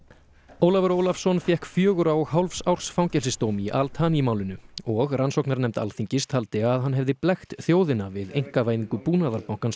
Ólafur Ólafsson fékk fjögurra og hálfs árs fangelsisdóm í Al Thani málinu og rannsóknarnefnd Alþingis taldi að hann hefði blekkt þjóðina við einkavæðingu Búnaðarbankans